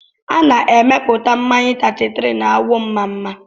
A na-emepụta mmanya 33 na Awọmmamma